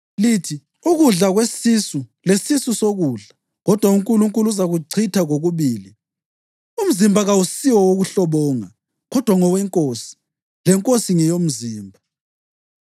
Lithi “Ukudla kwesisu lesisu sokudla, kodwa uNkulunkulu uzakuchitha kokubili.” Umzimba kawusiwokuhlobonga, kodwa ngoweNkosi, leNkosi ngeyomzimba.